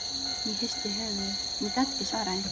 Ég hristi höfuðið, ég gat ekki svarað því.